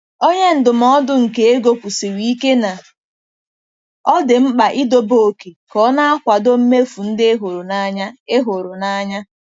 Onye ndụmọdụ nke ego kwusiri ike na ọ dị mkpa idobe oke ka ọ na-akwado mmefu ndị ị hụrụ n'anya. ị hụrụ n'anya.